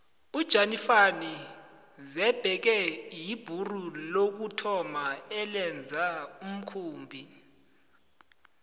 ujanifani xebekhe yibhuru lokuthoma elenza umkhumbi